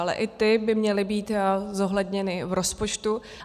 Ale i ty by měly být zohledněny v rozpočtu.